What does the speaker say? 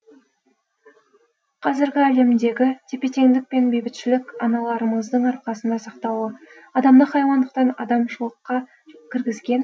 қазіргі әлемдегі тепе теңдік пен бейбітшілік аналарымыздың арқасында сақтаулы адамды хайуандықтан адамшылыққа кіргізген